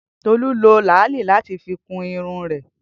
Tolu lo laali lati fi kun irun rẹ.